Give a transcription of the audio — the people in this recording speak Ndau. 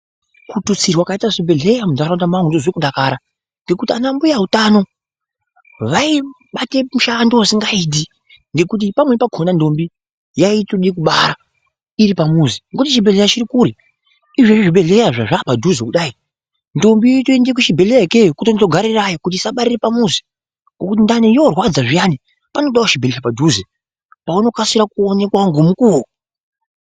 Kututsirwa kwaita zvibhedhleya muntaraunda mangu ndinozwe kudakara, ngekuti vana mbuyautano vaibate mushando usingaiti ngekuti pamweni pakona ndombi yaitode kubara iri pamuzi ngokuti chibhedhleya chiri kure. Izvezvi zvibhedhleya zvazvaa padhuze kudai, ndombi yotoende kuchibhedhleya ikeyo kutondogarirayo kuti isabarire pamuzi, Ngokuti ndani yorwadza zviyani panodawo chibhedhleya padhuze, paunokasira kuonekwawo ngomukuwo.